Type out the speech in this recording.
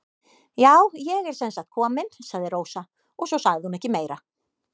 Já, ég er sem sagt komin, sagði Rósa og svo sagði hún ekki meira.